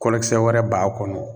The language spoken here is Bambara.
Kɔlɔkisɛ wɛrɛ b'a kɔnɔ